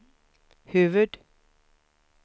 huvud-